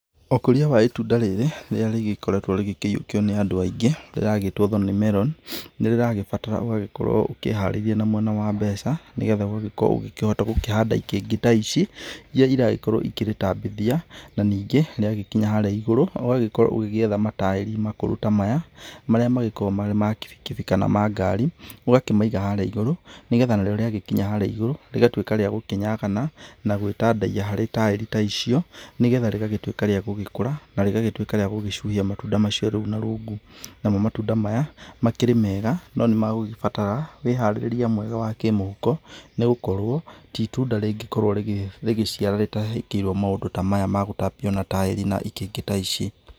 Ũkũria wa ĩtunda rĩrĩ rĩrĩa rĩgĩkoretwo rĩkĩyiũkio nĩ andũ aingĩ rĩragĩtwo thorn melon rĩragĩbatara ũgagĩkorwo ũkĩharĩirie mwena wa mbeca nĩgetha ũkĩhote gũkĩhanda ikĩngĩ ta ici iria ĩragĩkorwo ikĩritambithia na ningĩ rĩagĩkinya haria igũrũ ũgagĩkorwo ũgĩgĩetha mataĩri makũrũ ta maya marĩa magĩkoragwo marĩ ma kibikibi kana ma ngari. Ũgakĩmaiga harĩa ĩgũrũ nĩgetha narĩo rĩagĩkinya harĩa ĩgũrũ rĩgatuĩka rĩa gũkĩnyagana na gwĩtandaiyia harĩ taĩri ta icio nĩgetha rĩgagĩtuĩka rĩa gũgĩkũra na rĩgagĩtuĩka rĩa gũgĩcuhia matunda macio rĩu na rungu. Namo matunda maya makĩrĩ mega no nĩ megũgĩbatara wĩharĩrĩria mwega wa kĩmũhuko, nĩgũkorwo nĩ ĩtunda rĩngĩ korwo rĩgĩciara rĩtekĩirwo maũndũ ta maya magũtambio na taĩri na ikĩngĩ ta ici.